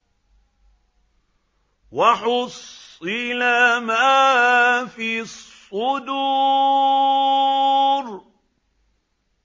وَحُصِّلَ مَا فِي الصُّدُورِ